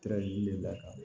de la